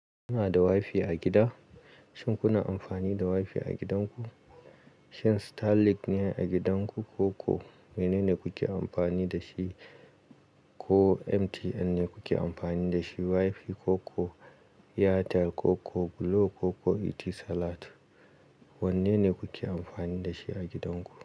Kuna da WiFi a gida? Shin kuna amfani da WiFi a gidanku? Shin Starlink ne a gidanku, ko ko mene ne kuke amfani da shi, ko MTN ne kuke amfani da shi, WiFi ko ko Airtel ko ko Glo ko ko ETISALAT? Wanne ne kuke amfani da shi a gidanku?